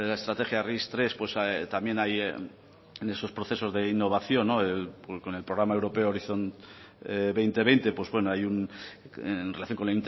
estrategia ris tres pues también hay en esos procesos de innovación junto con el programa europea horizonte dos mil veinte pues bueno hay en relación con